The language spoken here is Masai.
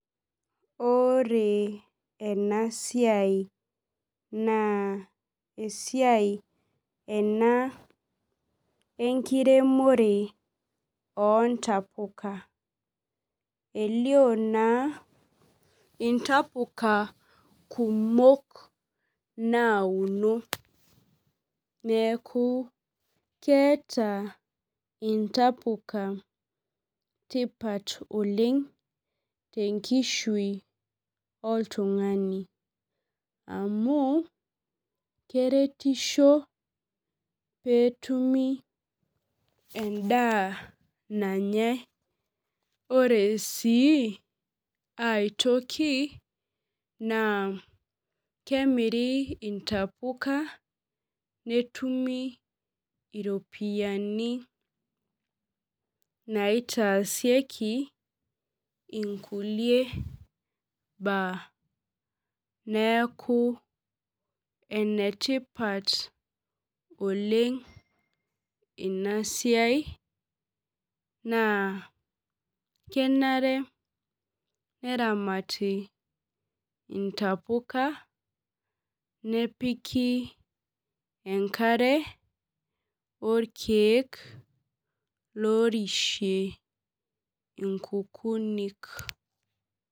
Ore ena siai naa esiai ena enkiremore ontapuka elio naa intapuka kumok nauno neeku keeta intapuka tipat oleng tenkishui oltung'ani amu keretisho peetumi endaa nanyae ore sii aetoki naa kemiri intapuka netumi iropiyiani naitaasieki inkulie baa neeku enetipat oleng ina siai naa kenare neramati intapuka nepiki enkare orkeek lorishie inkukunik.